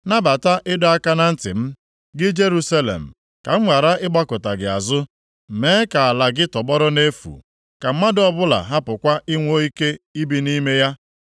Nabata ịdọ aka na ntị m, gị Jerusalem, ka m ghara ịgbakụta gị azụ, mee ka ala gị tọgbọrọ nʼefu, ka mmadụ ọbụla hapụkwa inwe ike ibi nʼime ya.”